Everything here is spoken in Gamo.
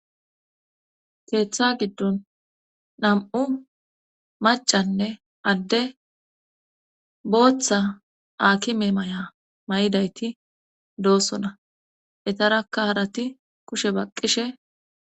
keeththa giddon nam7u macanne adde booththa akime may7a may7idayti doossona etarakka harati kushe baqqishe